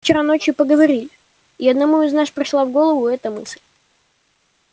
вчера ночью поговорили и одному из нас пришла в голову эта мысль